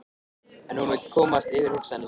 En hún vill komast yfir hugsanir sínar.